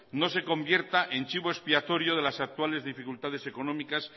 no se convierta en chivo expiatorio de las actuales dificultades económicas